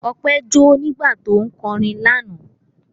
Ọpẹ́ jó nígbà tí ń kọrin lánàá.